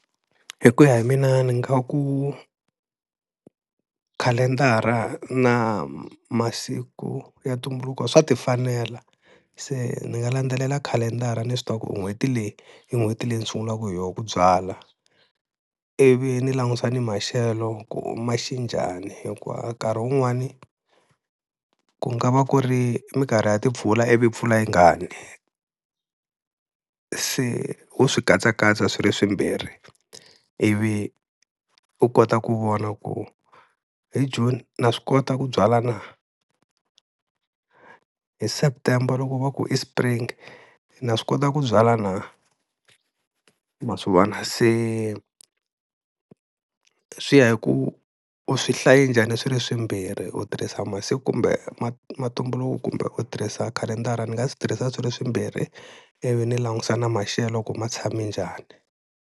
Hi ku ya hi mina ni nga ku khalendara na masiku ya ntumbuluko swa ti fanela, se ni nga landzelela khalendara ni swi tiva ku n'hweti leyi i n'hweti leyi ni sungulaka hi yona ku byala. Ivi ni langusa ni maxelo ku ma xi njhani, hikuva nkarhi wun'wani ku nga va ku ri minkarhi ya timpfula ivi mpfula yi nga ni se ho swi katsakatsa swi ri swimbirhi, ivi u kota ku vona ku hi June na swi kota ku byala na, hi September loko va ku i spring na swi kota ku byala na ma swi vona. Se swi ya hi ku u swi hlayi njhani swi ri swimbirhi u tirhisa masiku kumbe mantumbuluko kumbe u tirhisa khalendara ni nga swi tirhisa swi ri swimbirhi ivi ni langusa na maxelo ku ma tshami njhani.